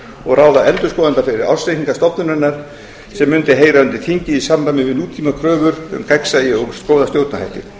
og ráða endurskoðanda fyrir ársreikninga stofnunarinnar sem mundi heyra undir þingið í samræmi við nútímakröfur um gagnsæi og góða stjórnarhætti